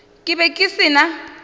ke be ke se na